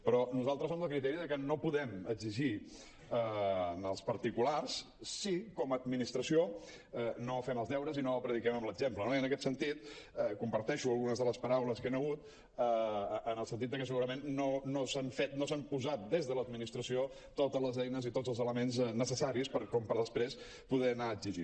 però nosaltres som del criteri de que no podem exigir als parti·culars si com a administració no fem els deures i no prediquem amb l’exemple no i en aquest sentit comparteixo algunes de les paraules que hi han hagut en el sentit de que segurament no s’han fet no s’han posat des de l’administració totes les eines i tots els elements necessaris com per després poder anar exigint